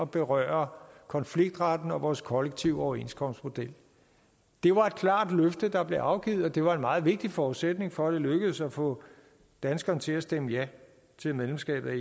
berøre konfliktretten og vores kollektive overenskomstmodel det var et klart løfte der blev afgivet og det var en meget vigtig forudsætning for at det lykkedes at få danskerne til at stemme ja til medlemskabet af